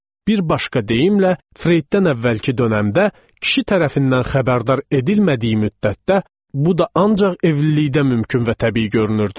Bir başqa deyimlə, Freyddən əvvəlki dönəmdə kişi tərəfindən xəbərdar edilmədiyi müddətdə bu da ancaq evlilikdə mümkün və təbii görünürdü.